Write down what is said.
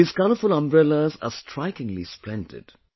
These colourful umbrellas are strikingly splendid